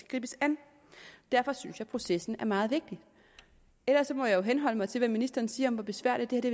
gribes an derfor synes jeg at processen er meget vigtig ellers må jeg jo henholde mig til hvad ministeren siger om hvor besværligt det